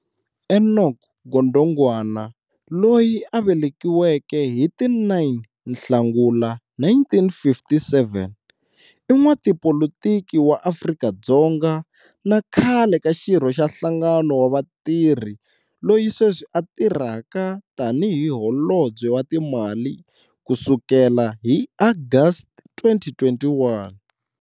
Enoch Godongwana, loyi a velekiweke hi ti 9 Nhlangula 1957, i n'watipolitiki wa Afrika-Dzonga na khale ka xirho xa nhlangano wa vatirhi loyi sweswi a tirhaka tani hi Holobye wa Timali kusukela hi August 2021.